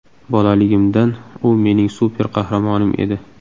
Bolaligimdan u mening super qahramonim edi.